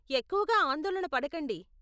ఎక్కువగా ఆందోళన పడకండి.